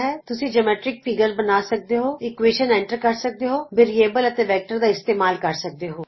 ਤੁਸੀਂ geometric figures ਬਣਾ ਸਕਦੇ ਹੋ ਸਮੀਕਰਨ ਏਨਟਰ ਕਰ ਸਕਦੇ ਹੋ ਵੈਰੀਬਲਜ਼ ਅਤੇ ਵੈਕਟਰ ਦਾ ਇਸਤੇਮਾਲ ਕਰ ਸਕਦੇ ਹੋ